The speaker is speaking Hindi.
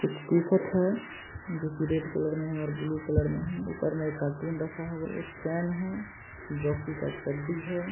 कुछ टी-शर्ट है जो की रेड कलर मे है ब्लू कलर मे है ऊपर में एक कार्टून रखा हुआ एक फैन है जॉकी का एक चड्डी है।